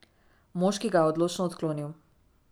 Moški ga je odločno odklonil.